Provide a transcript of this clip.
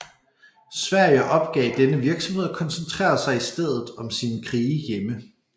Sverige opgav denne virksomhed og koncentrerede sig i stedet om sine krige hjemme